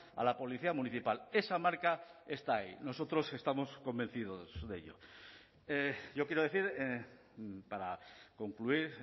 a la policía municipal esa marca está ahí nosotros estamos convencidos de ello yo quiero decir para concluir